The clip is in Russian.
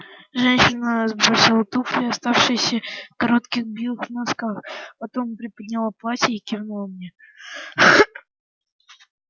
женщина сбросила туфли оставшись в коротких белых носках потом приподняла платье и кивнула мне